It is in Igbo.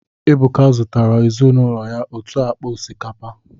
Ebuka zụtara ezinụlọ ya otu akpa osikapa